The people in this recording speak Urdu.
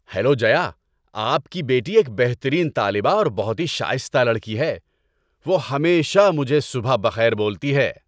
ہیلو جیا، آپ کی بیٹی ایک بہترین طالبہ اور بہت ہی شائستہ لڑکی ہے۔ وہ ہمیشہ مجھے صبح بخیر بولتی ہے۔